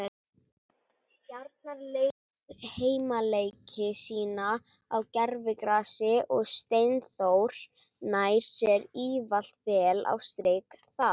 Stjarnan leikur heimaleiki sína á gervigrasi og Steinþór nær sér ávalt vel á strik þar.